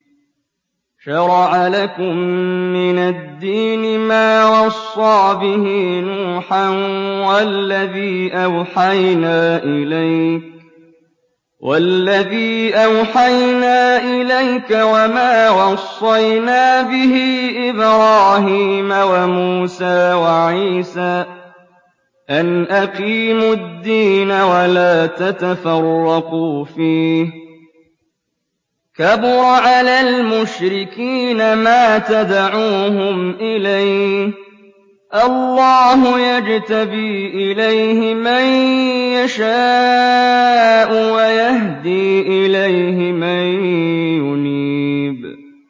۞ شَرَعَ لَكُم مِّنَ الدِّينِ مَا وَصَّىٰ بِهِ نُوحًا وَالَّذِي أَوْحَيْنَا إِلَيْكَ وَمَا وَصَّيْنَا بِهِ إِبْرَاهِيمَ وَمُوسَىٰ وَعِيسَىٰ ۖ أَنْ أَقِيمُوا الدِّينَ وَلَا تَتَفَرَّقُوا فِيهِ ۚ كَبُرَ عَلَى الْمُشْرِكِينَ مَا تَدْعُوهُمْ إِلَيْهِ ۚ اللَّهُ يَجْتَبِي إِلَيْهِ مَن يَشَاءُ وَيَهْدِي إِلَيْهِ مَن يُنِيبُ